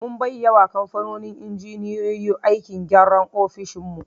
Mun bai yawa kamfanin injiniyoyi aikin gyanra ofishin mu